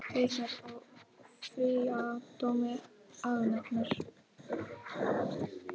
Haukar áfrýja dómi aganefndar